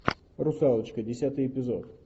русалочка десятый эпизод